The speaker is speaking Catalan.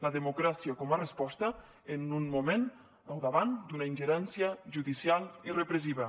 la democràcia com a resposta en un moment al davant d’una ingerència judicial i repressiva